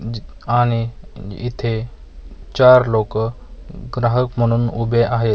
ज आणि इथे चार लोकं ग्राहक म्हणून उभे आहेत .